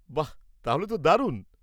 বাহ, তাহলে তো দারুণ।